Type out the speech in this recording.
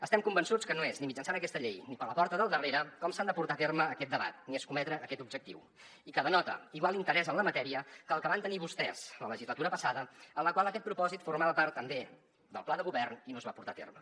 estem convençuts que no és ni mitjançant aquesta llei ni per la porta del darrere com s’ha de portar a terme aquest debat ni escometre aquest objectiu i que denota igual interès en la matèria que el que van tenir vostès la legislatura passada en la qual aquest propòsit formava part també del pla de govern i no es va portar a terme